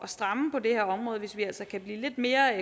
stramme på det her område hvis vi altså kan blive lidt mere